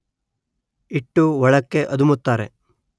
ಇಟ್ಟು ಒಳಕ್ಕೆ ಅದುಮುತ್ತಾರೆ